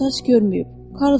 Qıvrım saç görməyib.